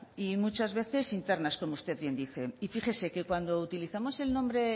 y muchas veces internas como usted bien dice y fíjese que cuando utilizamos el nombre